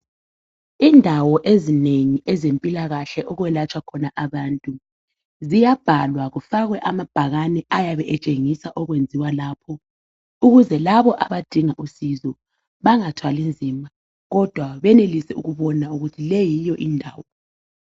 Indawo ezinengi ezempilakahle okwelatshwa khona abantu ziyabhalwa kufakwe amabhakane ayabe etshengisa okwenziwa lapho ukuze labo abadinga usizo bangathwalinzima kodwa benelise ukubona ukuthi yiyo lendawo.